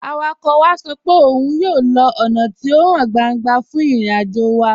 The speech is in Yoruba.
Awakọ̀ wa sọ pẹ̀ ọ́un yóò lọ ọ́na tí o háń gbàńgbà fún ìrìn-àjò wa.